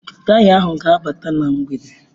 Taya ahu ga-abata na mgbede.